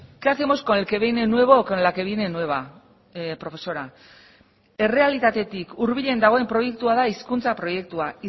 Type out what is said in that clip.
qué hacemos con el que viene nuevo o con la que viene nueva profesora errealitatetik hurbilen dagoen proiektua da hizkuntza proiektua